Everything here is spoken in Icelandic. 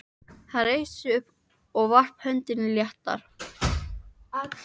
Hann reisti sig upp og varp öndinni léttar.